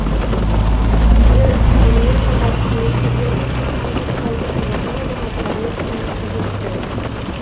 вице премьер сонымен қатар қызметкерлердің тоқсан бес пайызы қазақстан азаматтары екенін атап өтті